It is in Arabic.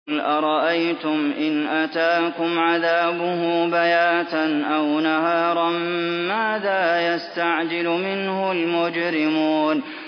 قُلْ أَرَأَيْتُمْ إِنْ أَتَاكُمْ عَذَابُهُ بَيَاتًا أَوْ نَهَارًا مَّاذَا يَسْتَعْجِلُ مِنْهُ الْمُجْرِمُونَ